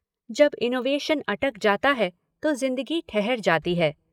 जब इनोवेशन अटक जाता है तो जिंदगी ठहर जाती है।